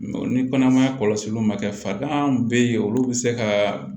ni kɔnɔmaya kɔlɔsiliw ma kɛ farigan bɛ ye olu bɛ se ka